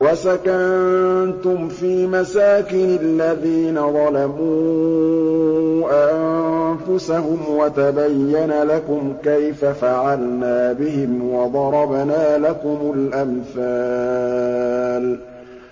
وَسَكَنتُمْ فِي مَسَاكِنِ الَّذِينَ ظَلَمُوا أَنفُسَهُمْ وَتَبَيَّنَ لَكُمْ كَيْفَ فَعَلْنَا بِهِمْ وَضَرَبْنَا لَكُمُ الْأَمْثَالَ